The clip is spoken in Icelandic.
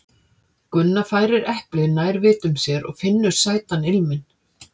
Gunna færir eplið nær vitum sér og finnur sætan ilminn.